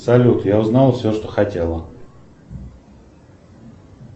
салют я узнал все что хотел